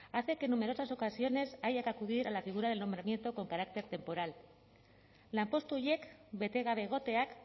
hace que en numerosas ocasiones haya que acudir a la figura del nombramiento con carácter temporal lanpostu horiek bete gabe egoteak